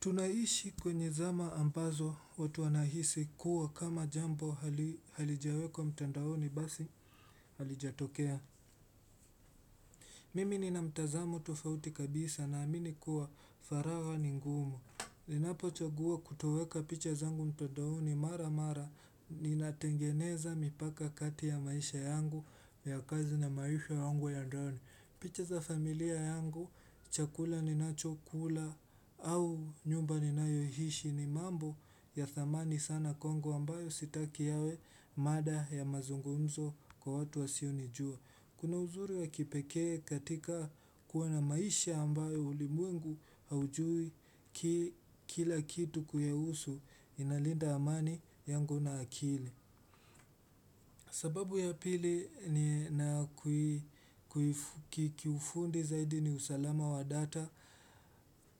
Tunaishi kwenye zama ambazo watu wanahisi kuwa kama jambo hali halijawekwa mtandaoni basi halijatokea. Mimi ni na mtazamo tofauti kabisa naamini kuwa faragha ni ngumu. Ninapochagua kutoweka picha zangu mtandaoni mara mara ninatengeneza mipaka kati ya maisha yangu ya kazi na maisha yangu ya ndani. Picha za familia yangu, chakula ni nachokula au nyumba ninayoishi ni mambo ya thamani sana kwangu ambayo sitaki yawe mada ya mazungumzo kwa watu wasionijua. Kuna uzuri wa kipekee katika kuwa na maisha ambayo ulimwengu haujui ki kila kitu kuyahusu inalinda amani yangu na akili. Sababu ya pili ni nakui kuifu kiufundi zaidi ni usalama wa data.